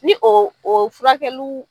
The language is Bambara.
Ni o furakɛluw